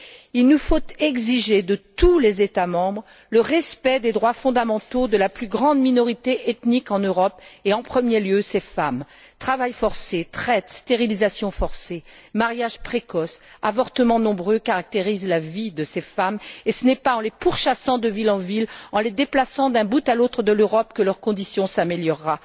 Il nous faut exiger de tous les États membres le respect des droits fondamentaux de la plus grande minorité ethnique en Europe et, en premier lieu, de ces femmes. Travail forcé, traite, stérilisation forcée, mariage précoce, avortements nombreux caractérisent la vie de ces femmes et ce n'est pas en les pourchassant de ville en ville, en les déplaçant d'un bout à l'autre de l'Europe, que leur condition s'améliorera.